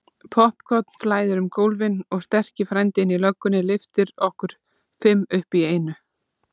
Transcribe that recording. Poppkorn flæðir um gólfin og sterki frændinn í löggunni lyftir okkur fimm upp í einu.